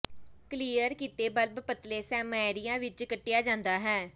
clear ਕੀਤੇ bulb ਪਤਲੇ ਸੈਮੀਰੀਆਂ ਵਿਚ ਕੱਟਿਆ ਜਾਂਦਾ ਹੈ